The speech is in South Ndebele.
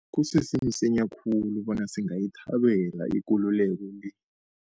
Kusese msinya khulu bona singayithabela ikululeko le.